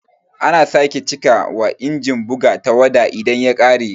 Ana sake cika wa Inajin bugu tawada idan ta ƙare